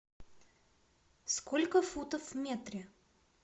сколько футов в метре